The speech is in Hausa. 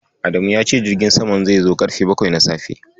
Adamu ya ce jirgin samam zai zo ƙarfe bakwai na safe.